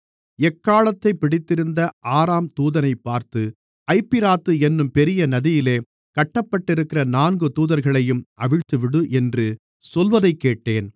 எக்காளத்தைப் பிடித்திருந்த ஆறாம் தூதனைப் பார்த்து ஐபிராத்து என்னும் பெரிய நதியிலே கட்டப்பட்டிருக்கிற நான்கு தூதர்களையும் அவிழ்த்துவிடு என்று சொல்வதைக்கேட்டேன்